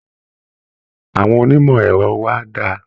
Àwọn onímọ̀ ẹ̀rọ wa dà?